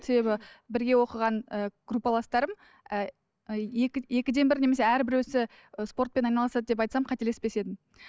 себебі бірге оқыған і группаластарым ііі екі екіден бір немесе әрбіреуісі і спортпен айналысады деп айтсам қателеспес едім